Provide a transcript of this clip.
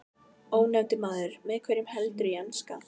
Ónefndur maður: Með hverjum heldurðu í enska?